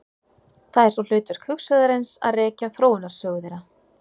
Það er svo hlutverk hugsuðarins að rekja þróunarsögu þeirra.